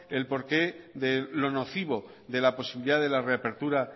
del porqué de lo nocivo de la posibilidad de la reapertura